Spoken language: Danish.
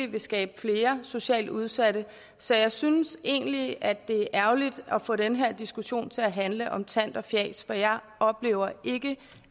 vil skabe flere socialt udsatte så jeg synes egentlig at det er ærgerligt at få den her diskussion til at handle om tant og fjas for jeg oplever ikke